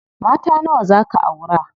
Mata nawa zaa ka aura?